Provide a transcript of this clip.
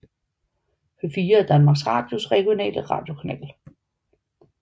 P4 er Danmarks Radios regionale radiokanal